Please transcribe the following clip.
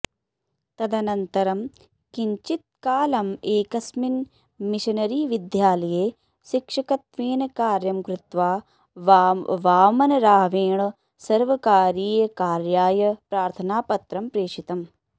तदनन्तरं किञ्चित्कालम् एकस्मिन् मिशनरीविद्यालये शिक्षकत्वेन कार्यं कृत्वा वामनरावेण सर्वकारीयकार्याय प्रार्थनापत्रं प्रेषितम्